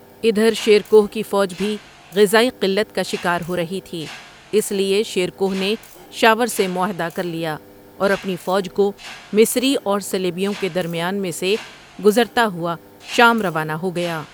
ادھر شیر کوہ کی فوج بھی غذائی قلت کا شکار ہو رہی تھی اس لیے شیر کوہ نے شاور سے محاہدہ کر لیا اور اپنی فوج کو مصری اور صلیبوں کے درمیان میں سے گزرتا ہوا شام روانہ ہو گیا ۔